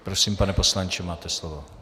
Prosím, pane poslanče, máte slovo.